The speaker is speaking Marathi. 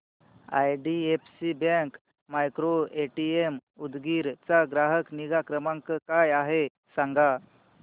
आयडीएफसी बँक मायक्रोएटीएम उदगीर चा ग्राहक निगा क्रमांक काय आहे सांगा